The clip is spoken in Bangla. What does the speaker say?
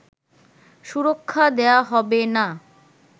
সুরক্ষা দেয়া হবে না